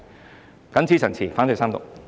我謹此陳辭，反對三讀。